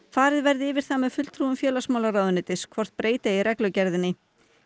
farið verði yfir það með fulltrúum félagsmálaráðuneytis hvort breyta eigi reglugerðinni